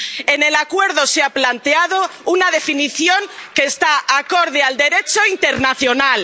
En el acuerdo se ha planteado una definición que está acorde al Derecho internacional.